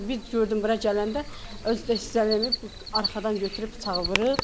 Bir gördüm bura gələndə özü də hissələyib arxadan götürüb bıçağı vurub.